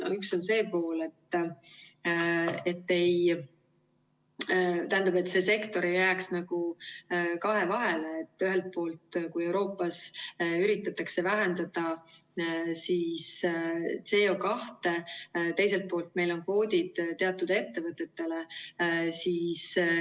Üks on see pool, et see sektor ei jääks nagu kahe vahele, et ühelt poolt Euroopas üritatakse vähendada CO2, teiselt poolt meil on kvoodid teatud ettevõtetele.